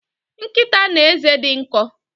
Nkita na eze di nko